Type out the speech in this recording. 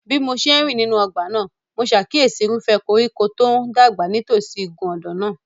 Bí mo ṣe ń rìn nínú ọgbà náà, mo ṣàkíyèsí irúfẹ́ koríko kan tó ń dàgbà nítòsí igun ọ̀dàn náà.